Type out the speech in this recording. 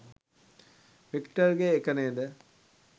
වික්ටර්ගෙ එක නේද?